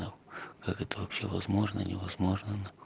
как это вообще возможно невозможно наху